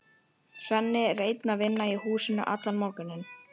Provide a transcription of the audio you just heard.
Svenni er einn að vinna í húsinu allan morguninn.